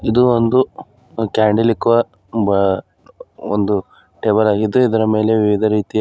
ಇದು ಒಂದು ಕ್ಯಾಂಡಲ್ ಇಕ್ಕುವ ಬ ಒಂದು ಟೇಬಲ್ ಆಗಿದ್ದು ಇದರ ಮೇಲೆ ವಿವಿಧ ರೀತಿಯ--